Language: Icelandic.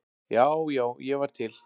Já, já, ég var til.